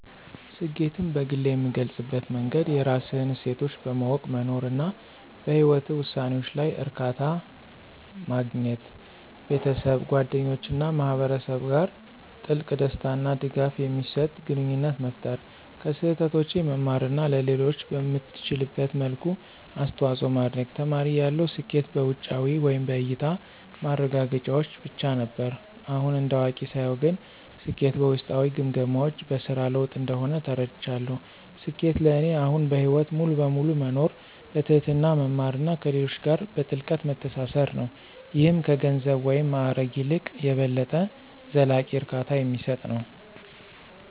ስኬትን በግሌ የምገልፅበት መንገድ የራስህን እሴቶች በማወቅ መኖር፣ እና በህይወትህ ውሳኔዎች ላይ እርካታ ማግኘት። ቤተሰብ፣ ጓደኞች እና ማህበረሰብ ጋር ጥልቅ፣ ደስታ እና ድጋፍ የሚሰጥ ግንኙነት መፍጠር፣ ከስህተቶቼ መማር እና ለሌሎች በምትችልበት መልኩ አስተዋጽኦ ማድረግ። ተማሪ እያለሁ ስኬት በውጫዊ (በእያታ) ማረጋገጫዎች ብቻ ነበር። አሁን እንደ አዋቂ ሳየው ግን ስኬት በውስጣዊ ግምገማዎች (በስራ ለውጥ) እንደሆነ ተረድቻለሁ። ስኬት ለእኔ አሁን በህይወት ሙሉ በሙሉ መኖር፣ በትህትና መማር እና ከሌሎች ጋር በጥልቀት መተሳሰር ነው - ይህም ከገንዘብ ወይም ማዕረግ ይልቅ የበለጠ ዘላቂ እርካታ የሚሰጥ ነው።